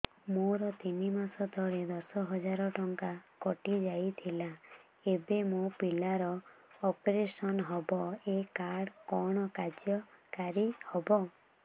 ମୋର ତିନି ମାସ ତଳେ ଦଶ ହଜାର ଟଙ୍କା କଟି ଯାଇଥିଲା ଏବେ ମୋ ପିଲା ର ଅପେରସନ ହବ ଏ କାର୍ଡ କଣ କାର୍ଯ୍ୟ କାରି ହବ